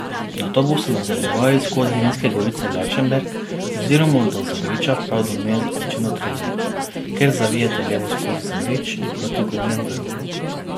Nato boste nadaljevali skozi vinske gorice Lačenberg oziroma do Zagriča prav do meje z občino Trebnje, kjer zavijete levo skozi Zagrič in proti Gornjemu vrhu.